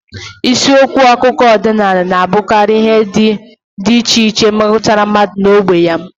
Isiokwu akụkọ ọdịnala na-abụkarị ihe ndị dị iche iche metụtara mmadụ na ógbè ya